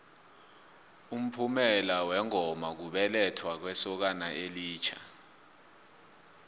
umphumela wengoma kubelethwa kwesokana elitjha